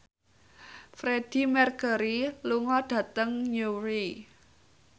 Freedie Mercury lunga dhateng Newry